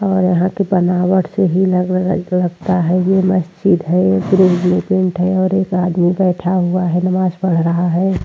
और यहां की बनावट से ही लग लगता है ये मस्जिद है पैंट है और एक आदमी बैठा हुआ है नमाज पढ़ रहा है।